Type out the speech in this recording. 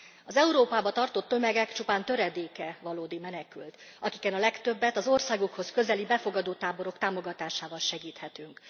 Az Európába tartó tömegek csupán töredéke valódi menekült, akiken a legtöbbet az országukhoz közeli befogadó táborok támogatásával segíthetünk.